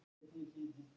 Verð á bensíni hækkað